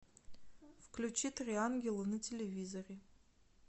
включи три ангела на телевизоре